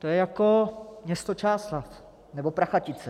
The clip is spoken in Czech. To je jako město Čáslav nebo Prachatice.